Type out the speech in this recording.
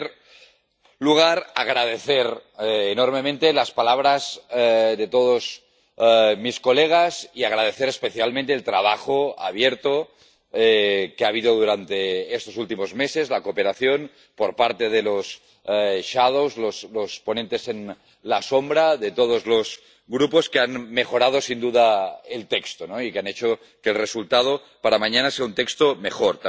En primer lugar, agradecer enormemente las palabras de todos mis colegas y agradecer especialmente el trabajo abierto que ha habido durante estos últimos meses, la cooperación por parte de los ponentes alternativos, de todos los grupos, que han mejorado sin duda el texto y que han hecho que el resultado, para mañana, sea un texto mejor.